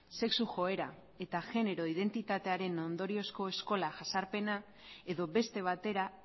sexu joera eta genero identitatearen ondoriozko eskola jazarpena edo beste batera